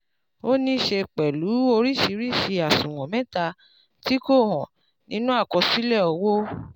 ó níí ṣe pẹ̀lú oríṣìíríṣìí àṣùwọ̀n mẹta tí kò hàn nínú àkọsílẹ̀ owó.